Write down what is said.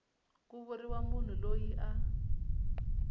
ku vuriwa munhu loyi a